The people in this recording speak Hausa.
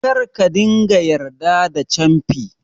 Kar ka ringa yarda da camfi